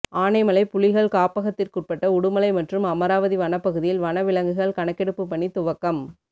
ஆனைமலை புலிகள் காப்பகத்திற்குட்பட்ட உடுமலை மற்றும் அமராவதி வனப்பகுதியில் வனவிலங்குகள் கணக்கெடுப்பு பணி துவக்கம்